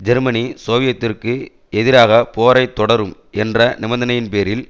Germany சோவியத்திற்கு எதிராக போரை தொடரும் என்ற நிபந்தனையின் பேரில்